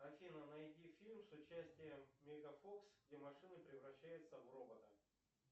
афина найди фильм с участием меган фокс где машины превращаются в роботов